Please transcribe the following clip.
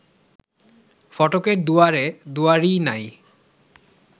ফটকের দুয়ারে দুয়ারী নাই